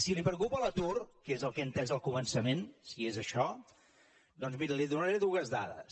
si la preocupa l’atur que és el que he entès al començament si és això doncs miri li donaré dues dades